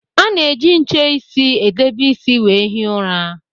A na -eji nche isi edebe isi wee hie ụra